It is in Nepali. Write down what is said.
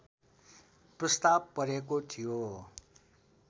प्रस्ताव परेको थियो